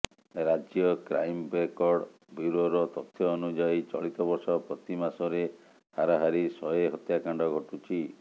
ରାଜ୍ୟ crime record ବ୍ୟୁରୋର ତଥ୍ୟ ଅନୁଯାୟୀ ଚଳିତବର୍ଷ ପ୍ରତି ମାସରେ ହାରାହାରି ଶହେ ହତ୍ୟାକାଣ୍ଡ ଘଟୁଛି